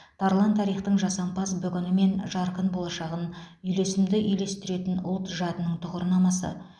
тарлан тарихтың жасампаз бүгіні мен жарқын болашағын үйлесімді үйлестіретін ұлт жадының тұғырнамасы